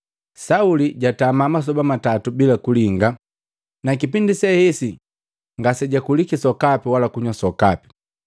Sauli jatama masoba matatu bila kulinga, na kipindi se hesi ngasejakuliki sokapi wala kunywa sokapi.